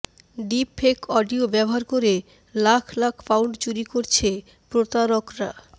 deepfake audio ব্যবহার করে lakh lakh pound চুরি করছে প্রতারকরা